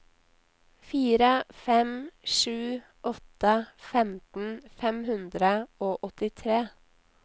fire fem sju åtte femten fem hundre og åttitre